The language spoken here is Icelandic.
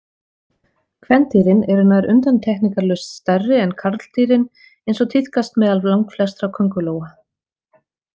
Kvendýrin eru nær undantekningarlaust stærri en karldýrin eins og tíðkast meðal langflestra köngulóa.